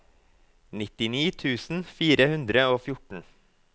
nittini tusen fire hundre og fjorten